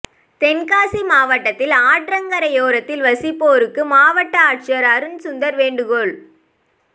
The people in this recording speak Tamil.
தென்காசி மாவட்டத்தில் ஆற்றங்கரையோரத்தில் வசிப்போருக்கு மாவட் ஆட்சியர் அருண் சுந்தர் வேண்டுகோள்